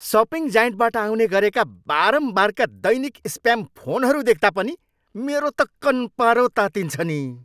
Shopping जायन्टबाट आउने गरेका बारम्बारका दैनिक स्प्याम फोनहरू देख्दा पनि मेरो त कन्पारो तात्तिन्छ नि।